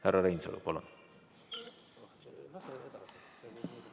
Härra Reinsalu, palun!